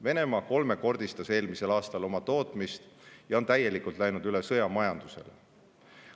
Venemaa kolmekordistas eelmisel aastal oma tootmist ja on täielikult läinud üle sõjamajandusele.